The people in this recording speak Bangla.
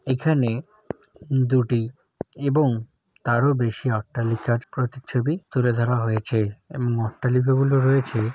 এখানে দুটি এবং তারও বেশি অট্টালিকার প্রতিচ্ছবি তুলে ধরা হয়েছে এবং অট্টালিকাগুলো রয়েছে।